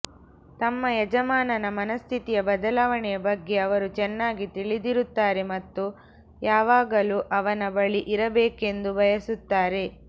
ತಮ್ಮ ಯಜಮಾನನ ಮನಸ್ಥಿತಿಯ ಬದಲಾವಣೆಯ ಬಗ್ಗೆ ಅವರು ಚೆನ್ನಾಗಿ ತಿಳಿದಿರುತ್ತಾರೆ ಮತ್ತು ಯಾವಾಗಲೂ ಅವನ ಬಳಿ ಇರಬೇಕೆಂದು ಬಯಸುತ್ತಾರೆ